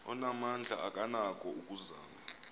onamandla akanako ukuzama